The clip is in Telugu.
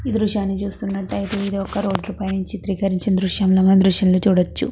ఈ దృశ్యాన్ని చూస్తున్నట్టయితే ఒక రోడ్డు పై నుంచి చిత్రీకరిచిన దృశ్యం చూడొచ్చు.